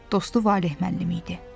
Dostu Valeh müəllim idi.